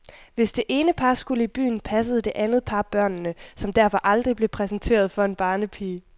Hvis det ene par skulle i byen, passede det andet par børnene, som derfor aldrig blev præsenteret for en barnepige.